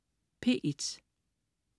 P1: